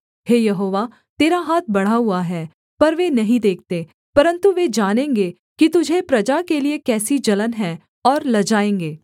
हे यहोवा तेरा हाथ बढ़ा हुआ है पर वे नहीं देखते परन्तु वे जानेंगे कि तुझे प्रजा के लिये कैसी जलन है और लजाएँगे